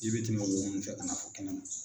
Ji bɛ tɛmɛ wo munnu fɛ ka na fɔ kɛnɛma.